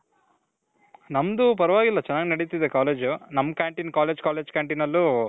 ನಮ್ದು ಪರ್ವಾಗಿಲ್ಲ ಚೆನಾಗ್ ನೆಡಿತಿದೆ college ನಮ್ canteen college college canteen ಅಲ್ಲು